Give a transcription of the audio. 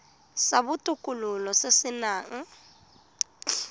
sa botokololo se se nang